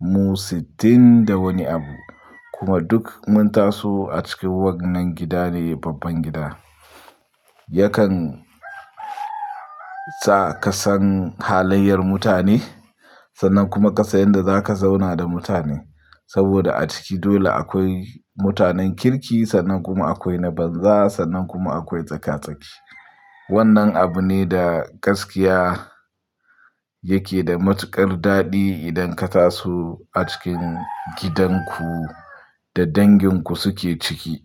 mu sittin da wani abu kuma duk mun taso a cikin wannan gida ne babban gida. Yakan sa ka san halayyar mutane sannan kuma ka san yadda za ka zauna da mutane. Saboda a ciki dole akwai mutanen kirki sannan kuma akwai na banza sannan kuma akwai tsaka-tsaki. Wannan abu ne da gaskiya yake da matuƙar daɗi idan ka taso a cikin gidan ku da dangin ku suke ciki.